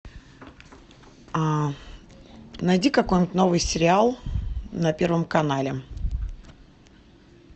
найди какой нибудь новый сериал на первом канале